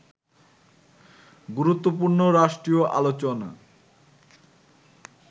গুরুত্বপূর্ণ রাষ্ট্রীয় আলোচনা